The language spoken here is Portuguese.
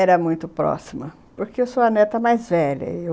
Era muito próxima, porque eu sou a neta mais velha... Eu...